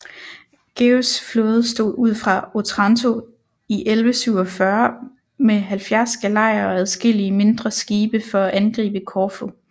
Georgs flåde stod ud fra Otranto i 1147 med 70 galejer og adskillige mindre skibe for at angribe Korfu